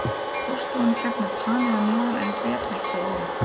Borðstofan er klædd með panel að neðan en betrekki að ofan.